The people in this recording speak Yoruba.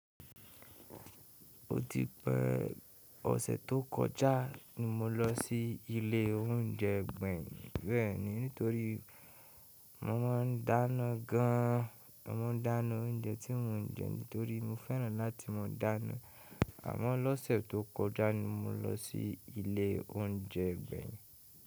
Ó ti pẹ́, ọ̀sẹ̀ tó kọjá ni mo lọ sí ilé oúnjẹ gbẹ̀yìn nítorí mo má n dáná gan an. Mo mọ̀ọ́ n dáná oúnjẹ tí mo ń jẹ nítorí mo fẹ́ràn láti mọ̀ dáná. Àmọ́ lọ́sẹ̀ tó kọjá ni mo lọ sí ilé oúnjẹ gbẹ̀yìn.